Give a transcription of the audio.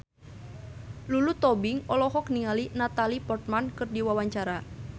Lulu Tobing olohok ningali Natalie Portman keur diwawancara